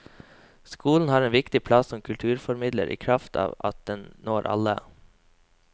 Skolen har en viktig plass som kulturformidler i kraft av at den når alle.